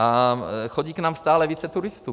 A chodí k nám stále více turistů.